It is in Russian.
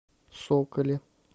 соколе